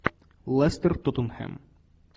лестер тоттенхэм